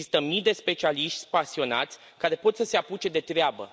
Există mii de specialiști pasionați care pot să se apuce de treabă.